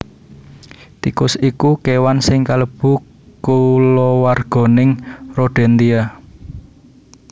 Tikus iku kéwan sing kalebu kulawarganing Rodentia